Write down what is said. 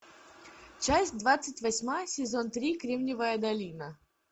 часть двадцать восьмая сезон три кремниевая долина